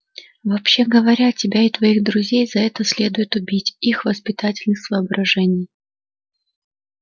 вообще говоря тебя и твоих друзей за это следует убить из воспитательных соображений